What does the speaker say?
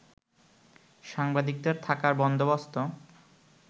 সাংবাদিকদের থাকার বন্দোবস্ত